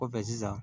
Kɔfɛ sisan